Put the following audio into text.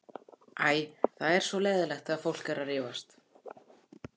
Æ, það er svo leiðinlegt þegar fólk er að rífast.